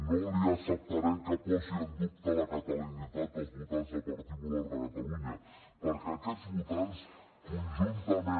no li acceptarem que posi en dubte la catalanitat dels votants del partit popular de catalunya perquè aquests votants conjuntament